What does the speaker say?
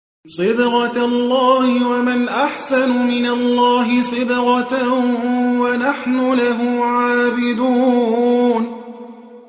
صِبْغَةَ اللَّهِ ۖ وَمَنْ أَحْسَنُ مِنَ اللَّهِ صِبْغَةً ۖ وَنَحْنُ لَهُ عَابِدُونَ